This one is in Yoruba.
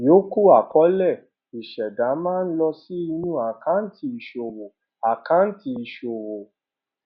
ìyòókù àkọọlẹ ìṣẹdá máa ń lọ sí inú àkáǹtì ìṣòwò àkáǹtì ìṣòwò